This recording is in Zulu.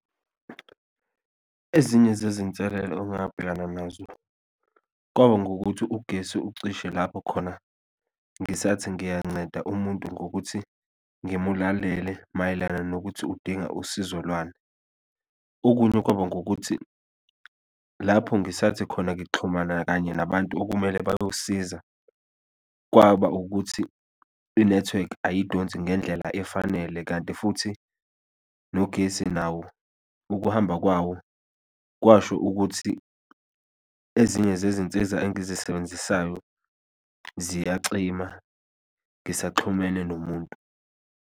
Ezinye zezinselelo ongabhekana nazo kwaba ngukuthi ugesi ucishe lapho khona ngisathi ngiyanceda umuntu ngokuthi ngimlalele mayelana nokuthi udinga usizo lwani, okunye kwaba ngukuthi lapho ngisathi khona ngixhumana kanye nabantu okumele bayosiza kwaba ukuthi inethiwekhi ayidonsi ngendlela efanele. Kanti futhi nogesi nawo ukuhamba kwawo kwasho ukuthi ezinye zezinsiza engizisebenzisayo ziyacima ngisaxhumene nomuntu.